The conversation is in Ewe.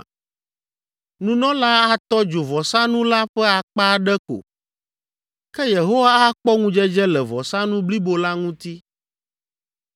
Nunɔlaa atɔ dzo vɔsanu la ƒe akpa aɖe ko, ke Yehowa akpɔ ŋudzedze le vɔsanu blibo la ŋuti.